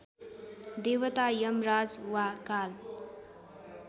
देवता यमराज वा काल